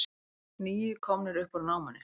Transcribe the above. Níu komnir upp úr námunni